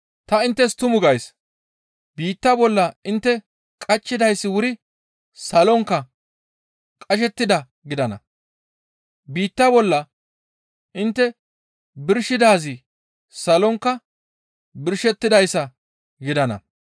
«Ta inttes tumu gays; biitta bolla intte qachchiday wuri salonkka qashettidaa gidana; biitta bolla intte birshidaazi salonkka birshettidayssa gidana.